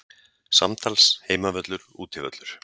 Samtals Heimavöllur Útivöllur